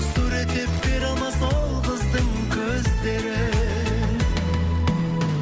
суреттеп бере алмас ол қыздың көздерін